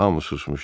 Hamı susmuşdu.